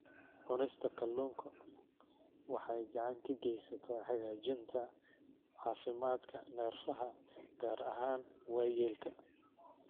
Cunista kalluunka waxay gacan ka geysataa hagaajinta caafimaadka neerfaha, gaar ahaan waayeelka.